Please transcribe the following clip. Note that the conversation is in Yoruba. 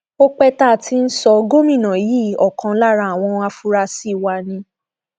ó pẹ tá a ti ń sọ gómìnà yìí ọkan lára àwọn afurasí wa ni